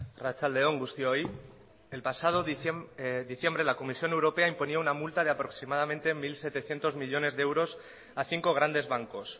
arratsalde on guztioi el pasado diciembre la comisión europea impuso una multa de aproximadamente mil setecientos millónes de euros a cinco grandes bancos